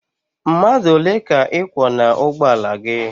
Mmadụ ole ka ị kwọ n'ugbọala gị?